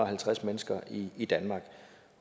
halvtreds mennesker i i danmark